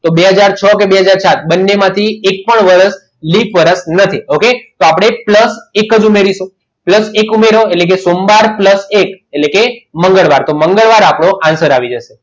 તો બે હાજર છો કે બે હાજર સાત બંને માથી એક પણ લીપ વર્ષ નથી okay તો આપણે plus એક જ ઉમેરીશું plus એક ઉમેરો એટલે કે સોમવાર plus એક એટલે કે મંગળવાર તો મંગળવાર આપણો answer આવી જશે